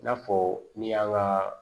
I n'a fɔ min y'an ka